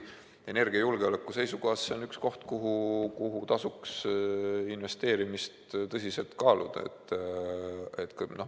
Energiajulgeoleku seisukohast on see kindlasti üks koht, kuhu tasuks investeerimist tõsiselt kaaluda.